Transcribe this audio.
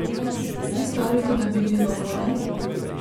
A kaj storiti, da bi bilo bolje?